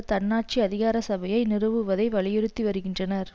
தன்னாட்சி அதிகார சபையை நிறுவுவதை வலியுறுத்தி வருகின்றனர்